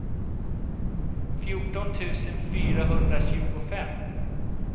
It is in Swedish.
fjorton tusen fyrahundratjugofem